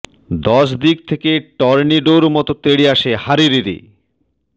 দশদিক থেকে টর্নেডোর মতো তেড়ে আসে হা রে রে রে